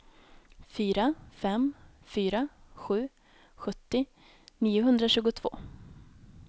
fyra fem fyra sju sjuttio niohundratjugotvå